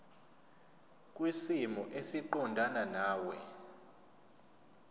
kwisimo esiqondena nawe